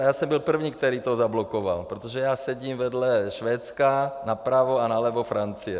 A já jsem byl první, který to zablokoval, protože já sedím vedle Švédska napravo a nalevo Francie.